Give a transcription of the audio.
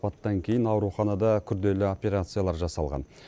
апаттан кейін ауруханада күрделі операциялар жасалған